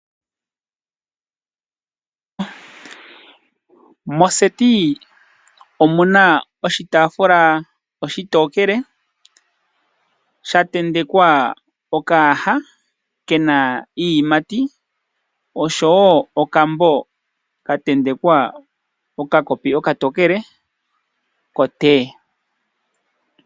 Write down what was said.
Moseti omu na oshitaafula oshitokele sha tentekwa okayaha ke na iiyimati osho wo okambo tantentekwa okakopi okatookele koteye.